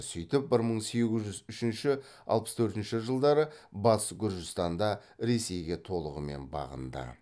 сөйтіп бір мың сегіз жүз үшінші алпыс төртінші жылдары батыс гүржістан да ресейге толығымен бағынды